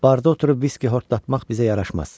Barda oturub viski horlatmaq bizə yaraşmaz.